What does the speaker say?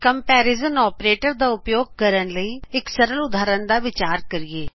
comparison operators ਦਾ ਉਪਯੋਗ ਕਰਨ ਲਈ ਇਕ ਸਰਲ ਉਦਾਹਰਨ ਦਾ ਵਿਚਾਰ ਕਰੀਏ